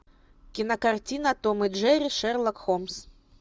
кинокартина том и джерри шерлок холмс